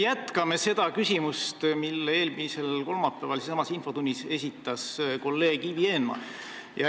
Jätkame selle küsimusega, mille eelmisel kolmapäeval infotunnis esitas kolleeg Ivi Eenmaa.